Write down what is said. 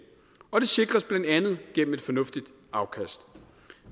og det sikres blandt andet gennem et fornuftigt afkast